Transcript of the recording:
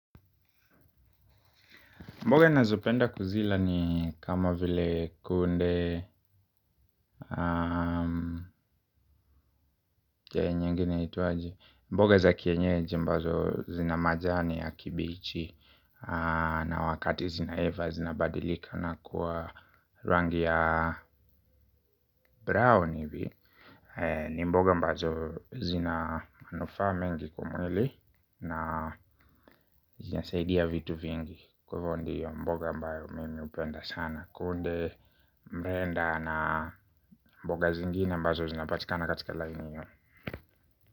Mboga ninazopenda kuzila ni kama vile kunde hiyo nyingine yaitwaje. Mboga za kienyeji ambazo zina majani ya kibichi na wakati zinaiva zinabadilika na kuwa rangi ya brown hivi. Ni mboga ambazo zina manufaa mengi kwa mwili na zinasaidia vitu vingi. Kwa hivyo ndiyo mboga ambayo mimi hupenda sana. Kunde, mrenda na mboga zingine ambazo zinapatika na katika laini hiyo.